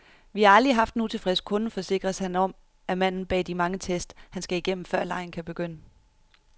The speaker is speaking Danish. Vi har aldrig haft en utilfreds kunde, forsikres han om af manden bag de mange tests, han skal igennem, før legen kan begynde.